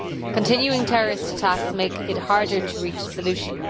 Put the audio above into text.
Continuing terrorist attacks make it harder to reach a solution.